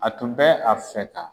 A tun bɛ a fɛ ka